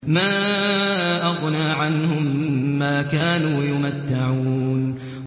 مَا أَغْنَىٰ عَنْهُم مَّا كَانُوا يُمَتَّعُونَ